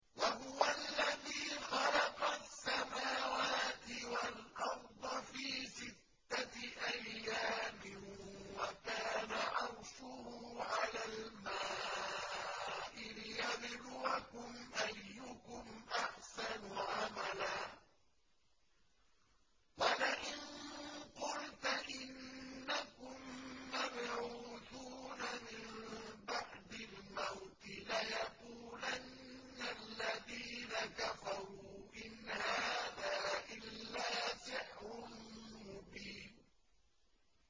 وَهُوَ الَّذِي خَلَقَ السَّمَاوَاتِ وَالْأَرْضَ فِي سِتَّةِ أَيَّامٍ وَكَانَ عَرْشُهُ عَلَى الْمَاءِ لِيَبْلُوَكُمْ أَيُّكُمْ أَحْسَنُ عَمَلًا ۗ وَلَئِن قُلْتَ إِنَّكُم مَّبْعُوثُونَ مِن بَعْدِ الْمَوْتِ لَيَقُولَنَّ الَّذِينَ كَفَرُوا إِنْ هَٰذَا إِلَّا سِحْرٌ مُّبِينٌ